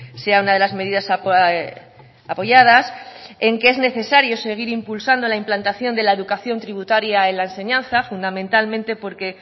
sea una de las medidas apoyadas en que es necesario seguir impulsando la implantación de la educación tributaria en la enseñanza fundamentalmente porque